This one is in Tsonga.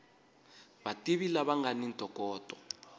vativi lava nga ni ntokoto